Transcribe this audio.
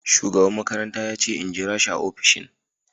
shugaban makaranta yace in jirashi a opishin.